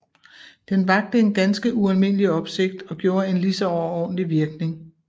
Den vakte en ganske ualmindelig opsigt og gjorde en lige så overordentlig virkning